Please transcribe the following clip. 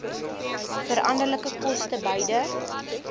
veranderlike koste beide